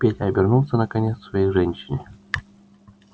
петя обернулся наконец к своей женщине